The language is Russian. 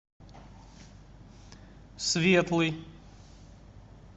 светлый